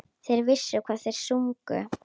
Þeir vissu hvað þeir sungu.